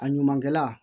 A ɲumankɛla